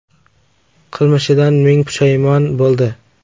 Qilmishidan ming pushaymon bo‘ldi.